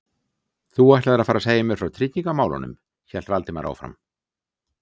Þú ætlaðir að fara að segja mér frá tryggingamálunum- hélt Valdimar áfram.